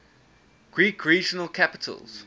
greek regional capitals